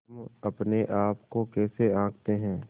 हम अपने आप को कैसे आँकते हैं